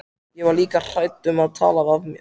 Ég var líka hrædd um að tala af mér.